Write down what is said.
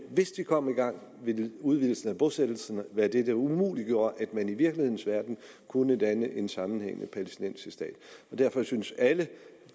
hvis de kom i gang ville udvidelsen af bosættelserne være det der umuliggjorde at man i virkelighedens verden kunne danne en sammenhængende palæstinensisk stat derfor synes jeg at alle